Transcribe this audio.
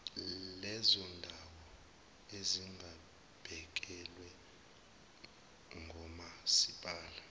lezondawo ezingabhekelwe ngomasipala